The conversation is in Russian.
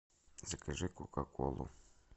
закажи кока колу